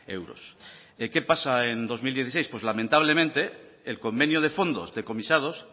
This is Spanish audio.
euros qué pasa en dos mil dieciséis lamentablemente el convenio de fondos decomisados